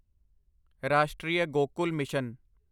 Rashtriya Gokul mission